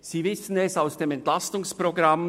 Sie wissen es aus dem Entlastungsprogramm: